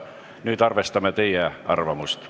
Nüüd arvestame teie arvamust.